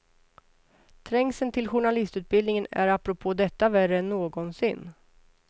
Trängseln till journalistutbildningen är apropå detta värre än någonsin.